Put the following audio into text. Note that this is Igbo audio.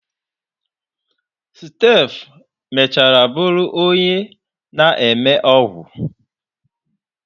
Steph mechara bụrụ onye na-eme ọgwụ.